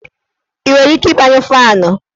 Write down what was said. I nwere ike ịgbayụ faanụ?